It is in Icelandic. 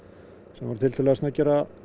sem voru tiltölulega snöggir að